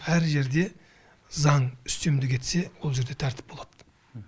әр жерде заң үстемдік етсе ол жерде тәртіп болады